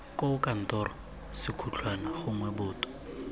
koo kantoro sekhutlhwana gongwe boto